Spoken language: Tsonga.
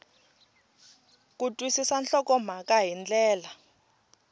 ku twisisa nhlokomhaka hi ndlela